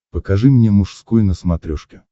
покажи мне мужской на смотрешке